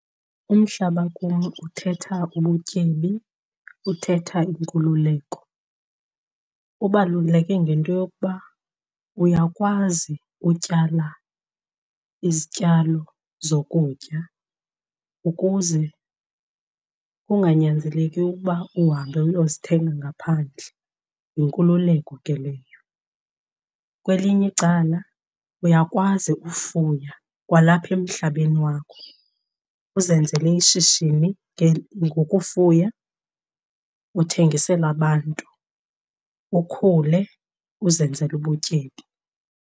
Umhlaba kum uthetha ubutyebi, uthetha inkululeko. Ubaluleke ngento yokuba uyakwazi utyala izityalo zokutya ukuze kunganyanzeleki ukuba uhambe uyozithenga ngaphandle, yinkululeko ke leyo. Kwelinye icala uyakwazi ufuya kwalapha emhlabeni wakho uzenzele ishishini ngokufuya uthengisele abantu, ukhule uzenzele ubutyebi.